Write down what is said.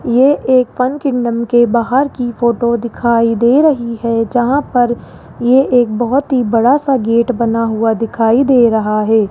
ये एक fun kingdom के बाहर की फोटो दिखाई दे रही है जहां पर ये एक बहोत ही बड़ा सा गेट बना हुआ दिखाई दे रहा है।